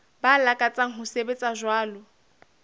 ba lakatsang ho sebetsa jwalo